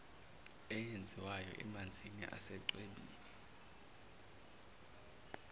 eyenziwayo emanzini asechwebeni